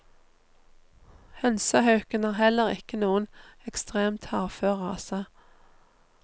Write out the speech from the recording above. Hønsehauken er heller ikke noen ekstremt hardfør rase.